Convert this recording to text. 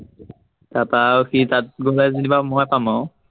তাৰপৰা আৰু সি তাত গলে যেনিবা মই পাম আও